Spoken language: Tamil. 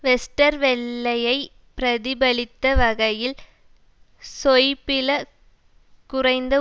வெஸ்டர்வெல்லயை பிரதிபலித்த வகையில் ஷொய்பிள குறைந்த